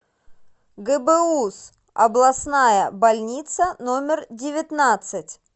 гбуз областная больница номер девятнадцать